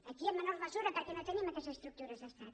aquí en menor mesura perquè no tenim aquestes estructures d’estat